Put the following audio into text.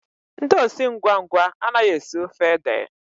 Ndị osi ngwa ngwa anaghị esi ofe ede